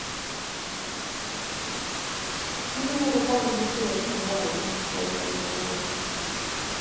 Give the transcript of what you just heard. мне надо пару бутылок кубай полуторалитровых